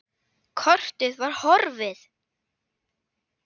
Kortið var horfið!